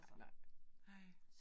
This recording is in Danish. Nej nej, nej